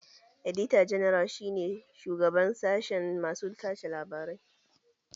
Edita janar shi ne shugaban sashen masu tace labarai